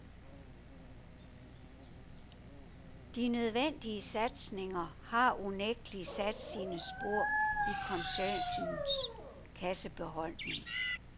De nødvendige satsninger har unægtelig sat sine spor i koncernens kassebeholdning.